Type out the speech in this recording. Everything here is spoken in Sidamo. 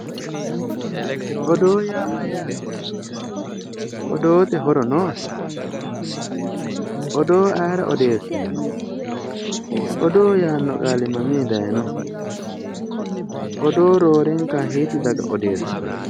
Odoo yaa mayyaate? Odoote horo noose? Odoo ayeera odeessinanni? Odoo yaanno qaali mamii dayiinoho? Odoo roorenka hiitti daga odeessitanno?